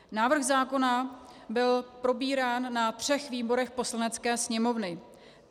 Návrh zákona byl probírán ve třech výborech Poslanecké sněmovny.